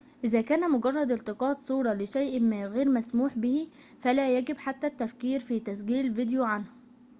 إذا كان مجرد التقاط صورة لشيء ما غير مسموح به فلا يجب حتى التفكير في تسجيل فيديو عنه